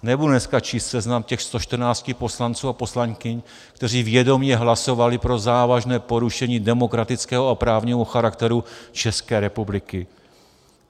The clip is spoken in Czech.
Nebudu dneska číst seznam těch 114 poslanců a poslankyň, kteří vědomě hlasovali pro závažné porušení demokratického a právního charakteru České republiky.